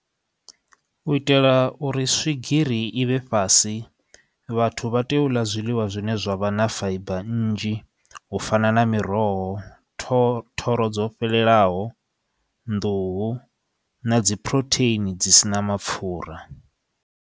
U itela uri swigiri i vhe fhasi vhathu vha tea u ḽa zwiḽiwa zwine zwavha na faiba nnzhi u fana na miroho, thoro dzo fhelelaho, nḓuhu na dzi phurotheini dzi sina mapfura.